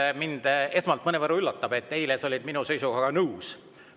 Esmalt, mind mõnevõrra üllatab, sest eile sa olid minu seisukohaga nõus.